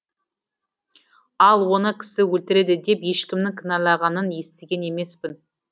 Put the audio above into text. ал оны кісі өлтіреді деп ешкімнің кіналағанын естіген емеспін